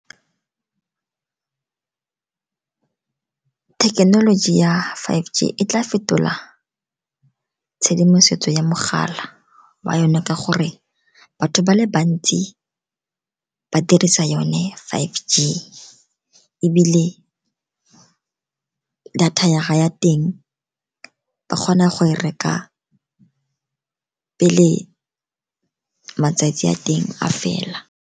Thekenoloji ya five G e tla fetola tshedimosetso ya mogala wa yone, ka gore batho ba le bantsi ba dirisa yone five G, ebile data ya teng e kgona go e reka pele matsatsi a teng a fela.